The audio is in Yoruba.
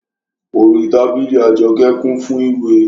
Orí tábìlì Àjọkẹ́ kún fún ìwé